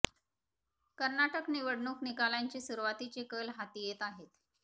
कर्नाटक निवडणूक निकालांचे सुरुवातीचे कल हाती येत आहेत